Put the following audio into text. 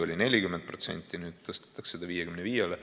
Oli 40%, nüüd tõstetakse 55-le.